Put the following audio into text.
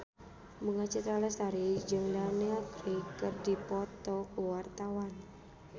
Bunga Citra Lestari jeung Daniel Craig keur dipoto ku wartawan